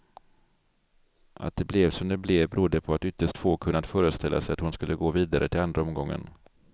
Att det blev som det blev berodde på att ytterst få kunnat föreställa sig att hon skulle gå vidare till andra omgången.